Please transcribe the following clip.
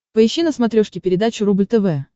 поищи на смотрешке передачу рубль тв